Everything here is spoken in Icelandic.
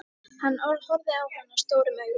Hann horfði á hana stórum augum.